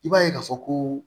I b'a ye k'a fɔ ko